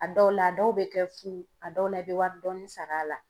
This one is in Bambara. A dɔw la a dɔw bɛ kɛ fu a dɔw la i bɛ wari dɔɔni sara a la.